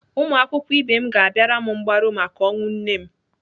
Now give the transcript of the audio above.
Ụmụakwụkwọ ibe m ga-abịara m mgbaru maka ọnwụ nne m.